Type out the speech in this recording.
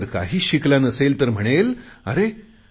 तो जर काहीच शिकला नसेल तर म्हणेल अरे